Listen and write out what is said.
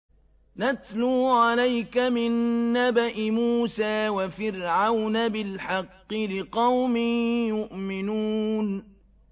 نَتْلُو عَلَيْكَ مِن نَّبَإِ مُوسَىٰ وَفِرْعَوْنَ بِالْحَقِّ لِقَوْمٍ يُؤْمِنُونَ